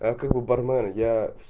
а как бы бармен я